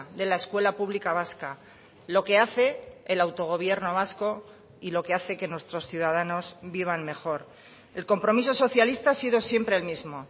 de la escuela pública vasca lo que hace el autogobierno vasco y lo que hace que nuestros ciudadanos vivan mejor el compromiso socialista ha sido siempre el mismo